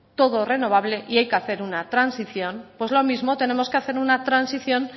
todo renovable y hay que hacer una transición pues lo mismo tenemos que hacer una transición